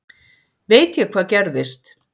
Veit ég hvað gerðist?